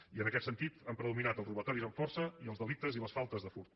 i en aquest sentit han predominat els robatoris amb força i els delictes i les faltes de furt